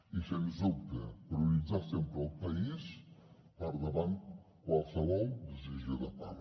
i sens dubte prioritzar sempre el país per davant de qualsevol decisió de part